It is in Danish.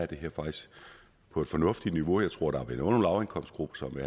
det her faktisk på et fornuftigt niveau jeg tror